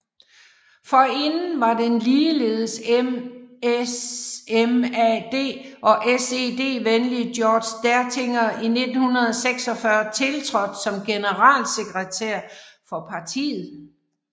Forinden var den ligeldes SMAD og SED venlige Georg Dertinger i 1946 tiltrådt som generalsekretær for partiet